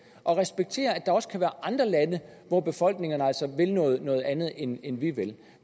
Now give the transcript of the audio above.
og respekterer at der også kan være andre lande hvor befolkningerne altså vil noget noget andet end end vi vil